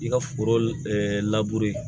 I ka foro